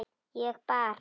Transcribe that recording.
Ég bara.